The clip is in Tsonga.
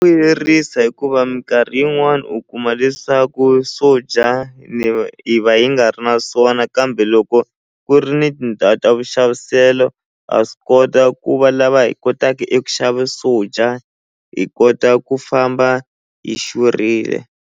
Vuyerisa hikuva minkarhi yin'wani u kuma leswaku swo dya hi va hi nga ri na swona kambe loko ku ri ni tindhawu ta vuxaviselo ha swi kota ku va lava hi kotaka eku xava swo dya hi kota ku famba hi xurhile.